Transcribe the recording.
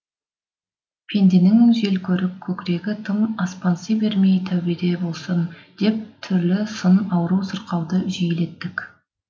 пенденің желкөрік көкірегі тым аспанси бермей тәубеде болсын деп түрлі сын ауру сырқауды жиілеттік